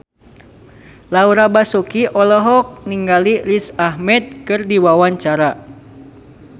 Laura Basuki olohok ningali Riz Ahmed keur diwawancara